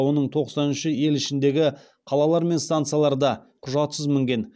оның тоқсан үші ел ішіндегі қалалар мен станцияларда құжатсыз мінген